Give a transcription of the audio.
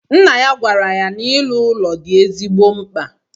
Nna ya gwara ya na iru ụlọ di ezigbo mkpa